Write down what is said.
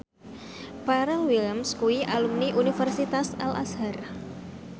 Pharrell Williams kuwi alumni Universitas Al Azhar